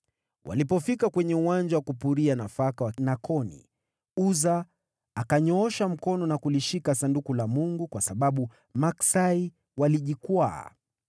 Walipofika kwenye uwanja wa kupuria nafaka wa Nakoni, Uza akanyoosha mkono na kulishika Sanduku la Mungu kwa sababu maksai walijikwaa.